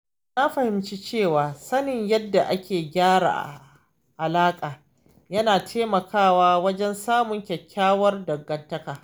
Na fahimci cewa sanin yadda ake gyara alaƙa yana taimakawa wajen samun kyakkyawar dangantaka.